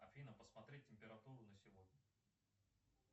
афина посмотри температуру на сегодня